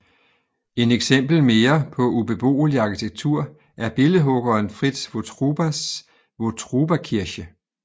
En eksempel mere på ubeboelig arkitektur er billedhuggeren Fritz Wotrubas Wotrubakirche